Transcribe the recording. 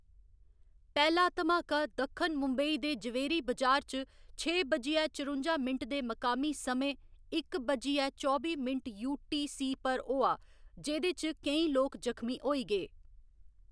पैह्‌‌ला धमाका दक्खन मुंबई दे जवेरी बजार च छे बज्जियै चरुंजा मिंट दे मकामी समें इक बज्जियै चौबी मिंट यूटीसी पर होआ जेह्‌‌‌दे च केईं लोक जखमी होई गे।